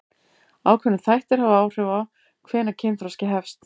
Ákveðnir þættir hafa áhrif á hvenær kynþroski hefst.